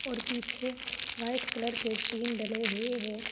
और पीछे white colour के टीन डले हुए हैं।